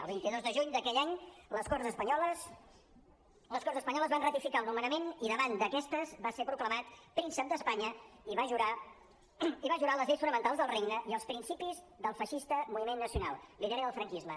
el vint dos de juny d’aquell any les corts espanyoles van ratificar el nomenament i davant d’aquestes va ser proclamat príncep d’espanya i va jurar les lleis fonamentals del regne i els principis del feixista moviment nacional l’ideari del franquisme